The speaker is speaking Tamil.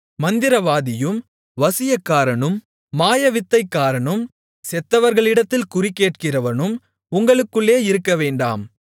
மந்திரவாதியும் வசியக்காரனும் மாயவித்தைக்காரனும் செத்தவர்களிடத்தில் குறிகேட்கிறவனும் உங்களுக்குள்ளே இருக்கவேண்டாம்